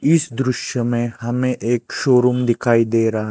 इस दृश्य में हमें एक शोरूम दिखाई दे रहा--